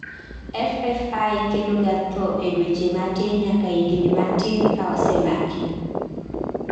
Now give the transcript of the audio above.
FFI keloga tho e dueche matin nyaka higni matin ka osemaki